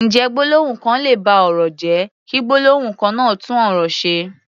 Ǹjẹ́ gbólóhùn kan lè ba ọ̀rọ̀ jẹ́, kí gbólóhùn kan náà tún ọ̀rọ̀ ṣe?